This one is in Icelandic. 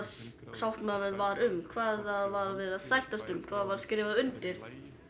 sáttmálinn var um hvað var verið að sættast um hvað var skrifað undir